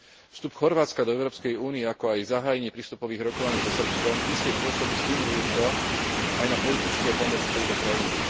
Vstup Chorvátska do Európskej únie, ako aj začatie prístupových rokovaní so Srbskom iste pôsobí stimulujúco aj na politické pomery v tejto krajine.